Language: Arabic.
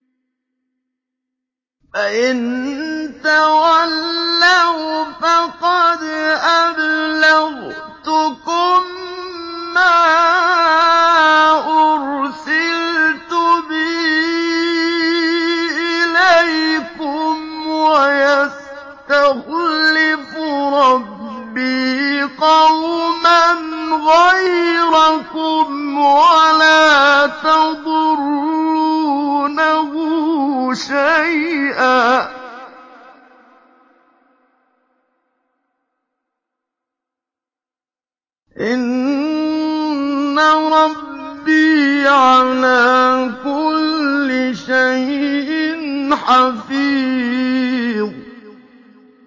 فَإِن تَوَلَّوْا فَقَدْ أَبْلَغْتُكُم مَّا أُرْسِلْتُ بِهِ إِلَيْكُمْ ۚ وَيَسْتَخْلِفُ رَبِّي قَوْمًا غَيْرَكُمْ وَلَا تَضُرُّونَهُ شَيْئًا ۚ إِنَّ رَبِّي عَلَىٰ كُلِّ شَيْءٍ حَفِيظٌ